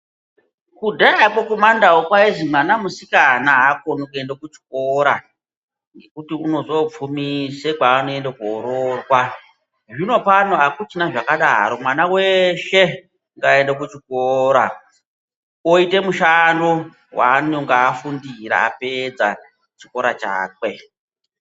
Kudhayako kumandau kwayizi mwana musikana akoni kuenda kuchikora, ngekuti unozoopfumise kwaanoenda koroorwa. Zvino pano akuchina zvakadaro ,mwana weshe ngaende kuchikora, oyite mushando waanonga afundira apedza chikora chakwe.